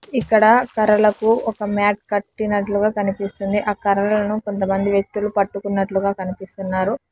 ఇక్కడ కర్రలకు ఒక మ్యాట్ కట్టినట్లుగా కనిపిస్తుంది ఆ కర్రలను కొంతమంది వ్యక్తులు పట్టుకున్నట్లుగా కనిపిస్తున్నారు.